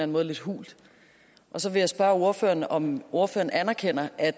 måde lidt hult så vil jeg spørge ordføreren om ordføreren anerkender at